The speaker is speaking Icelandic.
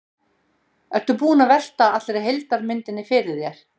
Ertu búinn að velta allri heildarmyndinni fyrir þér?